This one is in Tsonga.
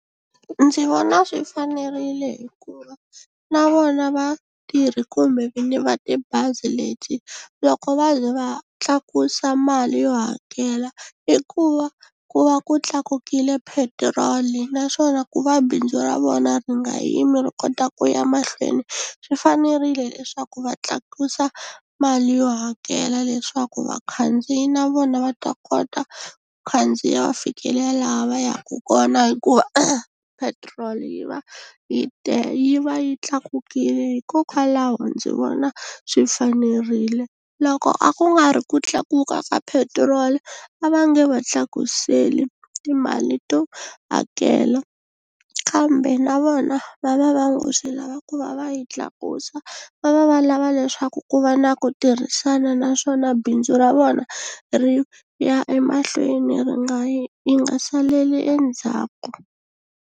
Ndzi vona swi fanerile hikuva na vona vatirhi kumbe vinyi va tibazi leti loko va ze va tlakusa mali yo hakela i ku va ku va ku tlakukile petiroli naswona ku va bindzu ra vona ri nga yimi ri kota ku ya mahlweni swi fanerile leswaku va tlakusa mali yo hakela leswaku vakhandziyi na vona va ta kota khandziya va fikelela laha va yaku kona hikuva petiroli yi va yi yi va yi tlakukile hikokwalaho ndzi vona swi fanerile loko a ku nga ri ku tlakuka ka petrol a va nge va tlakuseli timali to hakela kambe na vona va va va ngo swi lava ku va va yi tlakusa va va va lava leswaku ku va na ku tirhisana naswona bindzu ra vona ri ya emahlweni ri nga yi ri nga saleli endzhaku.